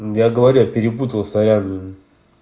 я говорю перепутала сорян